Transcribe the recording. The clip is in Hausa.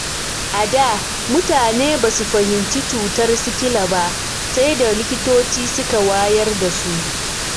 A da, mutane ba su fahimci cutar sikila ba sai da likitoci suka wayar da su.